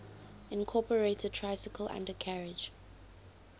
incorporated tricycle undercarriage